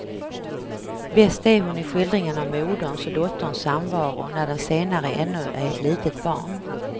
Bäst är hon i skildringen av moderns och dotterns samvaro när den senare ännu är ett litet barn.